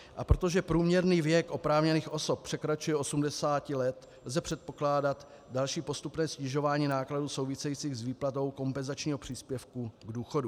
A protože průměrný věk oprávněných osob překračuje 80 let, lze předpokládat další postupné snižování nákladů souvisejících s výplatou kompenzačního příspěvku k důchodu.